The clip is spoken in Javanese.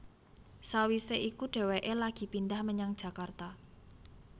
Sawisé iku dhéwéké lagi pindhah menyang Jakarta